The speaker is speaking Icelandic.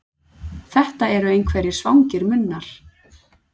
Þetta eru einhverjir svangir munnar.